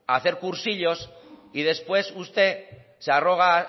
hacer cursillos y después usted se arroga